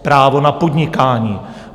Právo na podnikání.